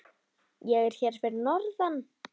Ég er hérna fyrir norðan.